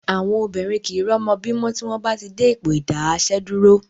Àwọn obìnrin kìí rọ́mọ bí mọ́ tí wọ́n bá ti dé Ipò ìdáààsẹ̀dúró